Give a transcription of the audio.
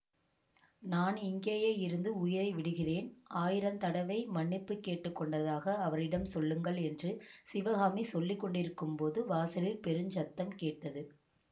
நான் இங்கேயே இருந்து உயிரை விடுகிறேன் ஆயிரந் தடவை மன்னிப்பு கேட்டு கொண்டதாக அவரிடம் சொல்லுங்கள் என்று சிவகாமி சொல்லி கொண்டிருக்கும்போது வாசலில் பெருஞ் சத்தம் கேட்டது